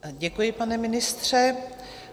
Děkuji, pan ministře.